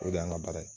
O de y'an ka baara ye